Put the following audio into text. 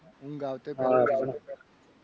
ઊંઘ આવતે પંદર minute થઇ જાય.